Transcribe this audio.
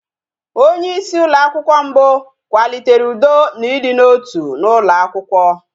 Onyeisi ụlọakwụkwọ mbụ kwalitere ụdọ na ịdị n'otu n'ụlọ akwụkwọ